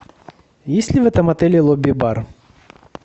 есть ли в этом отеле лобби бар